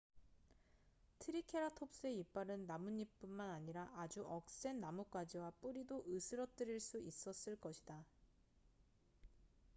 트리케라톱스의 이빨은 나뭇잎뿐만 아니라 아주 억센 나뭇가지와 뿌리도 으스러뜨릴 수 있었을 것이다